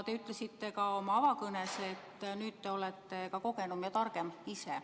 Te ütlesite ka oma avakõnes, et nüüd te olete ka ise kogenum ja targem.